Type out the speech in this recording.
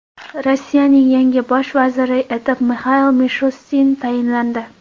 Rossiyaning yangi bosh vaziri etib Mixail Mishustin tayinlandi .